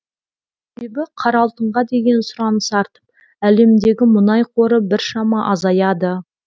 себебі қара алтынға деген сұраныс артып әлемдегі мұнай қоры біршама азаяды